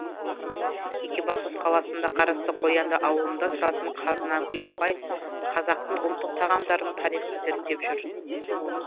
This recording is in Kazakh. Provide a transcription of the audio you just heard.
екібастұз қаласына қарасты қоянды ауылында тұратын қазынагүл апай қазақтың ұлттық тағамдарын тарихын зерттеп жүр